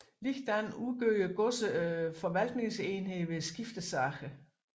Ligeledes udgjorde godserne forvaltningsenhed ved skiftesager